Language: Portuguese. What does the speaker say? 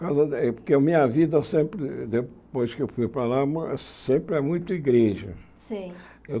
Porque a minha vida sempre, depois que eu fui para lá ma, sempre é muito igreja. Sei